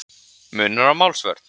Munur á málsvörn